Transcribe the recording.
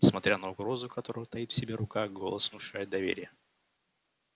несмотря на угрозу которую таит в себе рука голос внушает доверие